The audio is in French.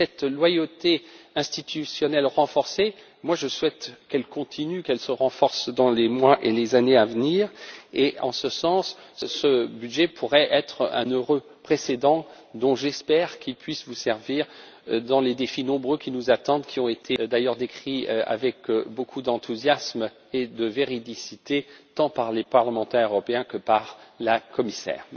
Cette loyauté institutionnelle renforcée, je souhaite qu'elle continue, qu'elle se renforce dans les mois et les années à venir, et en ce sens, ce budget pourrait être un heureux précédent dont j'espère qu'il pourra vous servir dans les défis nombreux qui nous attendent, d'ailleurs décrits avec beaucoup d'enthousiasme et de véridicité tant par les parlementaires européens que par la Commissaire.